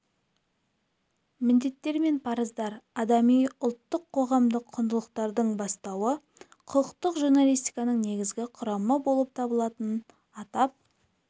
міндеттер мен парыздар адами ұлттық қоғамдық құндылықтардың бастауы құқықтық журналистиканың негізгі құрамы болып табылатынын атап